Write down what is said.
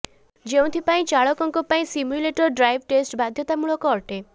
ଯେଉଁଥିରେ ଚାଳକଙ୍କ ପାଇଁ ସିମ୍ୟୁଲେଟର ଡ୍ରାଇଭ ଟେଷ୍ଟ ବାଧ୍ୟତାମୂଳକ ଅଟେ